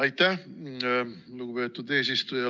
Aitäh, lugupeetud eesistuja!